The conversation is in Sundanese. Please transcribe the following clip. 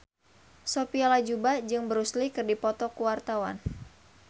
Sophia Latjuba jeung Bruce Lee keur dipoto ku wartawan